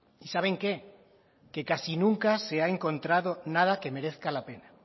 y saben qué que casi nunca se ha encontrado nada que merezca la pena